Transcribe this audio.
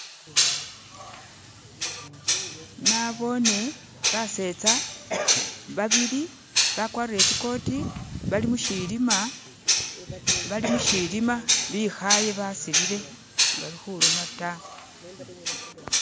Nboone basetsa babili bakwarire tsikoti bali mushilima bikhaye basilile sibali khuloma ta